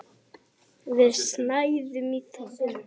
Við snæðum í þögn.